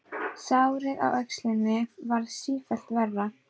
Sárið á öxlinni varð sífellt verra.